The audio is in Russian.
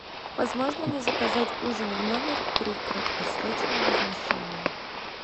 возможно ли заказать ужин в номер при краткосрочном размещении